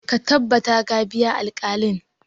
Ka tabbata ka biya alkalin!